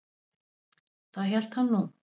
Það hélt hann nú.